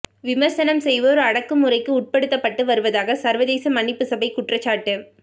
விமர்சனம் செய்வோர் அடக்குமுறைக்கு உட்படுத்தப்பட்டு வருவதாக சர்வதேச மன்னிப்புச் சபை குற்றச்சாட்டு